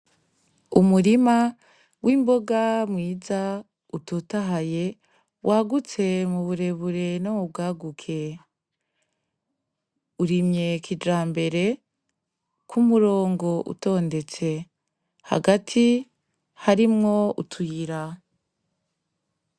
Umurima w'imboga mwiza utotahaye wagutse muburebure no mubwaguke, urimye kijambere kumurongo utondetse ,hagati harimwo utuyira.